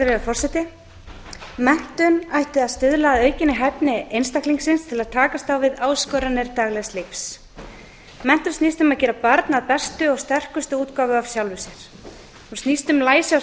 virðulegi forseti menntun ætti að stuðla að aukinni hæfni einstaklingsins til að takast á við áskoranir daglegs lífs menntun snýst um að gera barn að bestu og sterkustu útgáfu af sjálfum sér hún snýst um læsi á